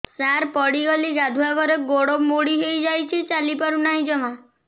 ସାର ପଡ଼ିଗଲି ଗାଧୁଆଘରେ ଗୋଡ ମୋଡି ହେଇଯାଇଛି ଚାଲିପାରୁ ନାହିଁ ଜମା